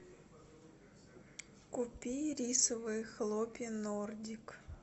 купи рисовые хлопья нордик